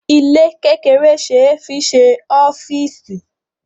Ilé kékeré ṣe é fi ṣe ọ́fíísì.